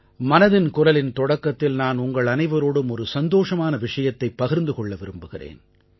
மனதின் குரலின் தொடக்கத்தில் நான் உங்கள் அனைவரோடும் ஒரு சந்தோஷமான விஷயத்தைப் பகிர்ந்து கொள்ள விரும்புகிறேன்